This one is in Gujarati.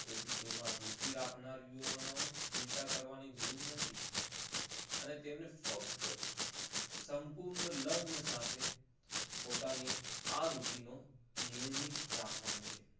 તેથી તેમાં રુચિ રાખનાર યુવાનાઓને ચિંતા કરવાની જરૂર નથી. અને તેમને ફક્ત સંપૂર્ણ લગ્ન સાથે પોતાની આ રુચિ ને નિયમિત રાખવાની છે.